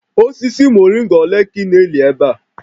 Osisi moringa ole ka ị na-eli ebe a?